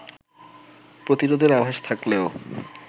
প্রতিরোধের আভাস থাকলেও